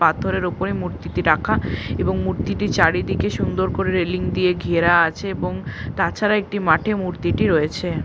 পাথরের উপরে মূর্তিটি রাখা এবং মূর্তিটি চারিদিকে সুন্দর করে রেলিং দিয়ে ঘেরা আছে এবং তাছাড়া একটি মাঠে মূর্তিটি রয়েছে ।